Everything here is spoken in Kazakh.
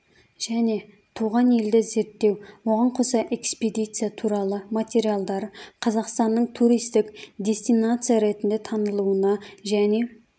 және туған елді зерттеу оған қоса экспедиция туралы материалдар қазақстанның туристік дестинация ретінде танылуына және